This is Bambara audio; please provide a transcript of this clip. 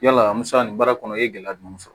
Yala an bɛ se ka nin baara kɔnɔ i ye gɛlɛya jumɛn sɔrɔ